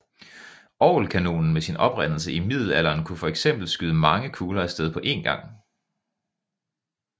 Orgelkanonen med oprindelse i middelalderen kunne for eksempel skyde mange kugler af sted på én gang